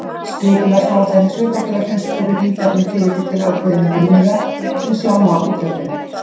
Skipulagsáætlanir sveitarfélagsins voru rýndar með tilliti til ákveðinna viðmiða sem sjá má í töflunni.